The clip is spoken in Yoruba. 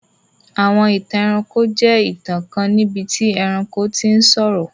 Àwọn ìtàn ẹranko jẹ ìtàn kan níbití ẹranko ti sọ̀rọ̀.